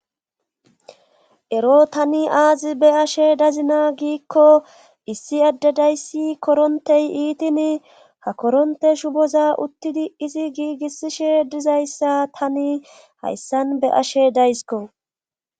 Ero tani aazi be ashe dazina giikko issi addedayssi korontey iitin ha koronte shu boza uttidi izi giigisishe dizayssa tani hayssan be ashe daysko.